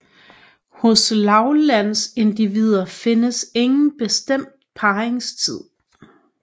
Hos lavlandsindivider findes ingen bestemt parringstid